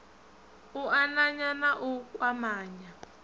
u ananya na u kwamanya